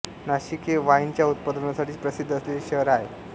नाशिक हे वाईनच्या उत्पादनासाठी प्रसिद्ध असलेले शहर आहे